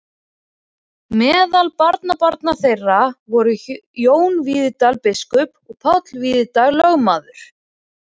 Meðal barnabarna þeirra voru Jón Vídalín biskup og Páll Vídalín lögmaður.